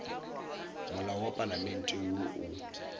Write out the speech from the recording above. molao wa palamente woo o